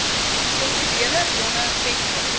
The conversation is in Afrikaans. kulturele bronne vestig